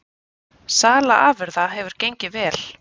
Sala afurða hefur gengið vel